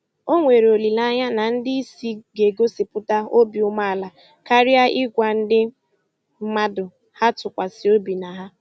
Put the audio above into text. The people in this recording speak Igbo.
Ọ nwere olileanya na ndị isi ga-egosipụta obi umeala karịa ị gwa ndị mmadụ ha tụkwasị obi na ha.